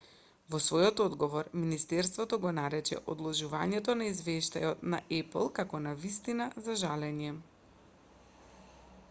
во својот одговор министерството го нарече одложувањето на извештајот на apple како навистина за жалење